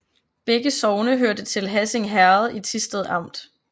Begge sogne hørte til Hassing Herred i Thisted Amt